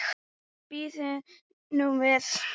En bíðum nú við.